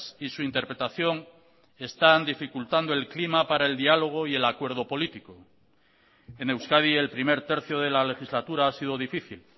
y su interpretación están dificultando el clima para el diálogo y el acuerdo político en euskadi el primer tercio de la legislatura ha sido difícil